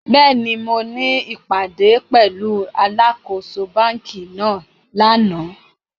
Béèni, mo ní ìpàdé pẹ̀lúu alákōso banki náà lánàá